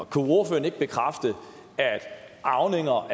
kunne ordføreren ikke bekræfte at arvinger